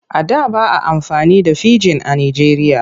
A da ba a amfani da fijin a Nijeriya.